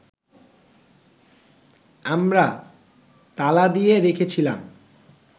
আমরা তালা দিয়ে রেখেছিলাম